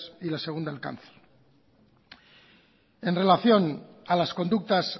y la segunda el cáncer en relación a las conductas